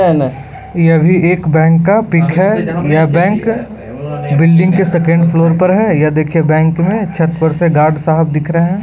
यह भी एक बेंक का पिक है। यह बैंक बिल्डिंग के सेकेण्ड फ्लोर पर है ये देखिये बेंक में छत पर से गार्ड साहब दिख रहे हैं।